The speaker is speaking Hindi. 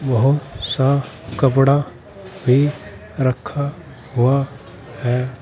बहुत सा कपड़ा भी रखा हुआ है।